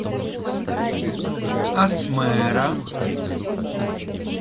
асмэра